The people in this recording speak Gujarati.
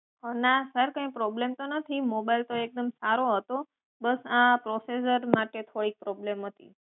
ના સર કઈ problem તો નથી બસ આ processor માટે કોઈ problem હતી